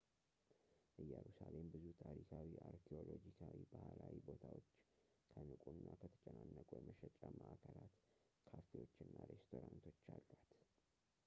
ኢየሩሳሌም ብዙ ታሪካዊ፣ አርኪኦሎጂካዊ ፣ ባህላዊ ቦታዎች ከንቁ እና ከተጨናነቁ የመሸጫ መዓከላት፣ ካ ፌዎች እና ሬስቶራንቶች አሏት